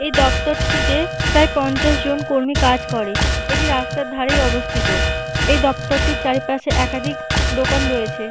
এই দপ্তরটিতে প্রায় পঞ্চাশজন কর্মী কাজ করে। এটি রাস্তার ধারেই অবস্থিত এই দপ্তরটি চারিপাশে একাধিক দোকান রয়েছে।